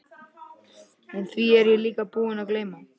En því er ég líka búinn að gleyma.